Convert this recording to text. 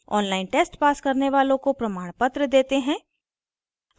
online test pass करने वालों को प्रमाणपत्र देते हैं